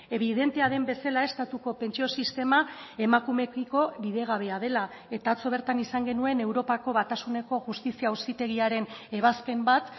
ebidentea den bezala estatuko pentsio sistema emakumeekiko bidegabea dela eta atzo bertan izan genuen europako batasuneko justizia auzitegiaren ebazpen bat